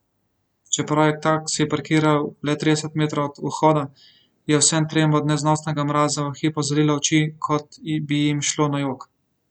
Čeprav je taksi parkiral le trideset metrov od vhoda, je vsem trem od neznosnega mraza v hipu zalilo oči, kot bi jim šlo na jok.